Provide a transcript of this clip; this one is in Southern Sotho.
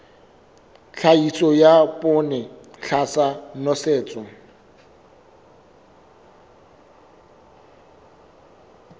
tlhahiso ya poone tlasa nosetso